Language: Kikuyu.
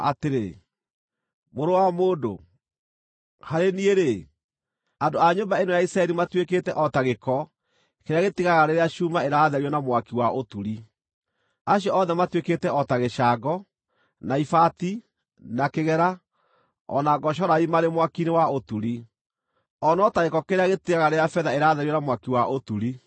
“Mũrũ wa mũndũ, harĩ niĩ-rĩ, andũ a nyũmba ĩno ya Isiraeli matuĩkĩte o ta gĩko kĩrĩa gĩtigaraga rĩrĩa cuuma ĩratherio na mwaki wa ũturi; acio othe matuĩkĩte o ta gĩcango, na ibati, na kĩgera, o na ngocorai marĩ mwaki-inĩ wa ũturi. O no ta gĩko kĩrĩa gĩtigaraga rĩrĩa betha ĩratherio na mwaki wa ũturi.